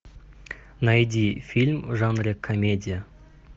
найди фильм в жанре комедия